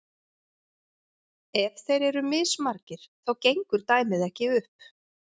ef þeir eru mismargir þá gengur dæmið ekki upp